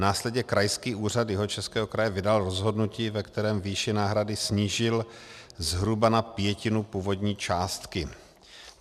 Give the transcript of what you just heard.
Následně Krajský úřad Jihočeského kraje vydal rozhodnutí, ve kterém výši náhrady snížil zhruba na pětinu původní částky.